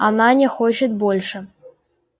она не хочет больше